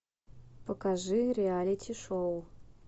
покажи реалити шоу